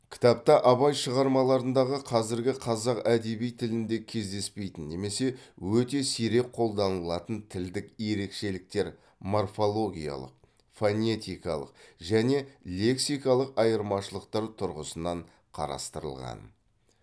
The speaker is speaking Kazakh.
кітапта абай шығармаларындағы қазіргі қазақ әдеби тілінде кездеспейтін немесе өте сирек қолданылатын тілдік ерекшеліктер морфологиялық фонетикалық және лексикалық айырмашылықтар тұрғысынан қарастырылған